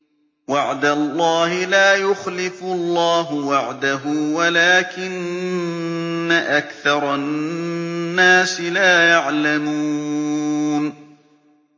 وَعْدَ اللَّهِ ۖ لَا يُخْلِفُ اللَّهُ وَعْدَهُ وَلَٰكِنَّ أَكْثَرَ النَّاسِ لَا يَعْلَمُونَ